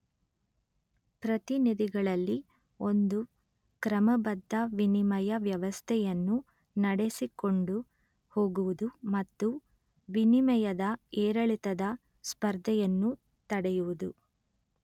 ಪ್ರತಿನಿಧಿಗಳಲ್ಲಿ ಒಂದು ಕ್ರಮಬದ್ಧ ವಿನಿಮಯ ವ್ಯವಸ್ಥೆಯನ್ನು ನಡೆಸಿಕೊಂಡು ಹೋಗುವುದು ಮತ್ತು ವಿನಿಮಯದ ಏರಿಳಿತದ ಸ್ಪರ್ಧೆಯನ್ನು ತಡೆಯುವುದು